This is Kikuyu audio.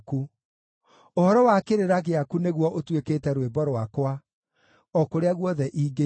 Ũhoro wa kĩrĩra gĩaku nĩguo ũtuĩkĩte rwĩmbo rwakwa, o kũrĩa guothe ingĩikara.